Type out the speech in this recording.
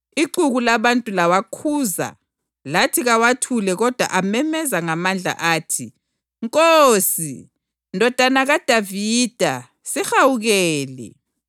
Ixuku labantu lawakhuza lathi kawathule kodwa amemeza ngamandla athi, “Nkosi, Ndodana kaDavida, sihawukele!”